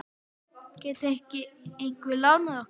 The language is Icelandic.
Gæti ekki einhver lánað okkur?